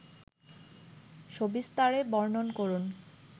সবিস্তারে বর্ণন করুন